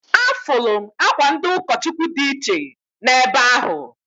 Afụlụ m akwa ndị ụkọchụkwụ dị iche na ebe ahụ.